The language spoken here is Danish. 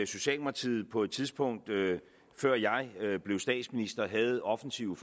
socialdemokratiet på et tidspunkt før jeg blev statsminister havde offensive